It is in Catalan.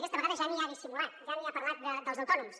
aquesta vegada ja ni ha dissimulat ja ni ha parlat dels autònoms